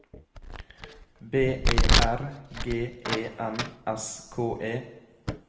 B E R G E N S K E